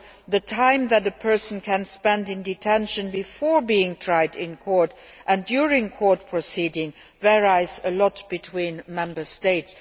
The time that a person can spend in detention before being tried in court and during court proceedings varies a lot between Member States.